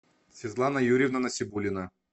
светлана юрьевна насибуллина